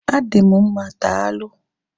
Adị m mma daalụ